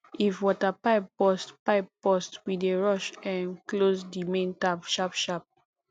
if water pipe burst pipe burst we dey rush um close di main tap sharpsharp